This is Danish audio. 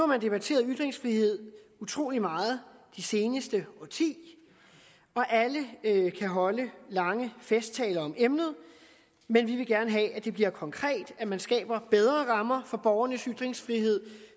man debatteret ytringsfrihed utrolig meget det seneste årti og alle kan holde lange festtaler om emnet men vi vil gerne have at det bliver konkret at man skaber bedre rammer for borgernes ytringsfrihed